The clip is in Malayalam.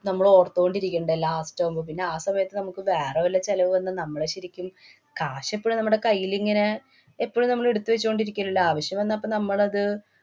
നമ്മളോര്‍ത്തോണ്ടിരിക്കണ്ടേ last ആവുമ്പ. പിന്നെ ആ സമയത്ത് നമുക്ക് വേറെ വല്ല ചെലവു വന്നാ നമ്മള് ശരിക്കും കാശ് എപ്പോഴും നമ്മടെ കൈയിലിങ്ങനെ എപ്പഴും നമ്മള് ഇടുത്തു വച്ചോണ്ടിരിക്കില്ലല്ലോ. ആവശ്യം വന്നാല്‍ അപ്പൊ നമ്മളത്